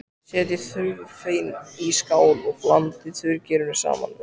Setjið þurrefnin í skál og blandið þurrgerinu saman við.